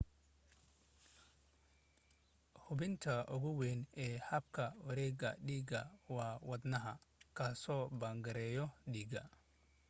xubinta ugu weyn ee habka wareega dhiiga waa wadnaha kaasoo bamgareeya dhiiga